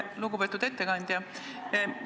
Lugupeetud ettekandja!